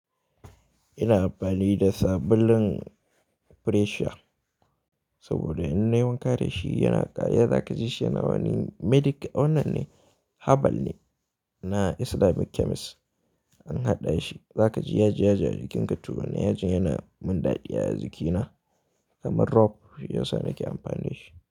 Ina amfani da sabulun freshier saboda in na yi wanka da shi yana ƙaya, za ka ji shi yana wani medic-- wannan ne herbal ne na Islamic chemist an haɗa shi. Za ka ji yaji, yaji a jikinka, to wannan yajin yana mun ɗaɗi a jikina kamar rob, shiyasa nake amfani da shi.